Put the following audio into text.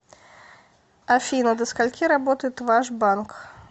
афина до скольки работает ваш банк